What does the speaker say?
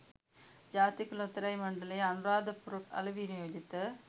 ජාතික ලොතරැුයි මණ්ඩලයේ අනුරාධපුර අලෙවි නියෝජිත